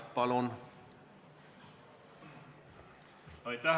Palun!